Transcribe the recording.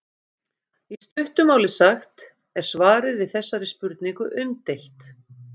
í stuttu máli sagt er svarið við þessari spurningu umdeilt